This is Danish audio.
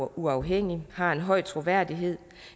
uafhængig har en høj troværdighed